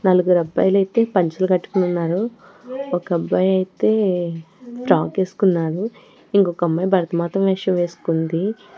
నలుగురు అబ్బాయిలు అయితే పంచులు కట్టుకొని ఉన్నారు ఒక అబ్బాయి అయితే ఫ్రాక్ వేసుకున్నాడు ఇంకొక అమ్మాయి భరతమాత వేషం వేసుకుంది.